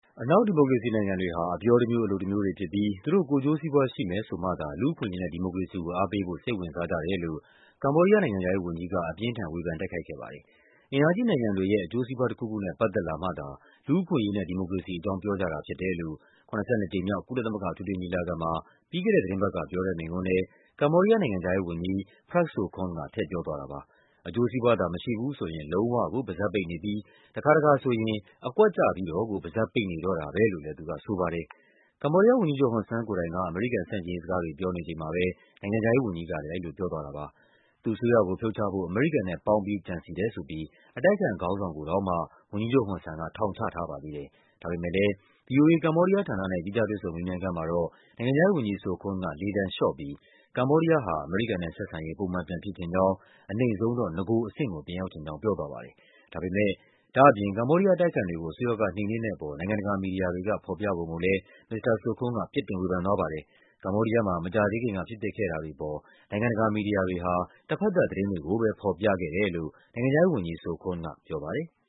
အနောက် ဒီမိုကရေစီနိုင်ငံတွေဟာ အပြောတမျိုး အလုပ်တမျိုးတွေဖြစ်ပြီး သူတို့ ကိုယ်ကျိုးစီးပွားရှိမယ်ဆိုမှသာ လူ့အခွင့်အရေးနဲ့ ဒီမိုကရေစီကို အားပေးဖို့ စိတ်ဝင်စား ကြတယ်လို့ ကမ္ဘောဒီးယားနိုင်ငံခြားရေးဝန်ကြီး အပြင်းအထန် ဝေဖန် တိုက်ခိုက်ခဲ့ ပါတယ်။ အင်အားကြီးနိုင်ငံတွေရဲ့ အကျိုးစီးပွားတခုခုနဲ့ ပတ်သက်လာမှာသာ လူ့အခွင့်အရေးနဲ့ ဒီမိုကရေစီအကြောင်း ပြောကြတာဖြစ် တယ်လို့ ၇၂ ကြိမ်မြောက် ကုလသမဂ္ဂ အထွေထွေ ညီလာခံမှာ ပြီးခဲ့တဲ့သီတင်းပတ်က ပြောတဲ့မိန့်ခွန်းထဲ ကမ္ဘောဒီးယားနိုင်ငံခြား ရေးဝန်ကြီး Prak Sokhon က ထည့်ပြောသွားတာပါ။ အကျိုးစီးပွားသာ မရှိဘူးဆိုရင် လုံးဝကို ပါးစပ်ပိတ်နေပြီး တခါတခါဆိုရင် အကွက်ချပြီးတော့ကို ပါးစပ်ပိတ်နေတော့ တာပဲလို့လဲ သူကဆိုပါတယ်။ ကမ္ဘောဒီးယားဝန်ကြီးချုပ် ဟွန်ဆန်ကိုယ်တိုင်က အမေရိကန်ဆန့်ကျင်ရေးစကားတွေ ပြောနေချိန်မှာပဲ နိုင်ငံခြားရေးဝန်ကြီးကလဲ အဲဒီလိုပြောသွားတာပါ။ သူ့အစိုးရကိုဖြုတ်ချဖို့ အမေရိကန်နဲ့ပေါင်းပြီး ကြံစည်တယ်ဆိုပြီး အတိုက်အခံခေါင်းဆောင်ကိုတောင်မှာ ဝန်ကြီးချုပ်ဟွန်ဆန်က ထောင်ချထားပါသေးတယ်။ ဒါပေမဲ့ဲလဲ ဗွီအိုအေ ကမ္ဘောဒီးယားဌာနနဲ့ သီးခြားတွေ့ဆုံမေးမြန်းခန်းမှာတော့ နိုင်ငံခြားရေးဝန်ကြီး Sokhon က လေသံလျှော့ပြီး ကမ္ဘောဒီးယားဟာ အမေရိကန်နဲ့ ဆက်ဆံရေး ပုံမှန်ပြန်ဖြစ်ချင်ကြောင်း၊ အနိမ့်ဆုံးတော့ နဂိုကအဆင့် ပြန်ရောက်ချင်ကြောင်း ပြောသွားပါတယ်။ ဒါ့အပြင် ကမ္ဘောဒီယားအတိုက်အခံတွေကို အစိုးရက နှိမ်နင်းတဲ့အပေါ် နိုင်ငံတကာမီဒီယာတွေက ဖော်ပြပုံကို လဲ မစ္စတာ Sokhon က ပြစ်တင်ဝေဖန်သွားပါတယ်။ ကမ္ဘောဒီးယားမှာ မကြာသေးခင်က ဖြစ်ပျက်ခဲ့တာတွေ အပေါ် နိုင်ငံတကာ မီဒီယာတွေက တဘက်သတ်သတင်းတွေကိုပဲ ဖော်ပြခဲ့တယ်လို့ နိုင်ငံခြားရေးဝန်ကြီး Sokhon က ပြောပါတယ်။